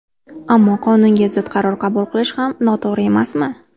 Ammo qonunga zid qaror qabul qilish ham noto‘g‘ri emasmi?